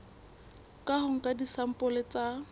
ka ho nka disampole tsa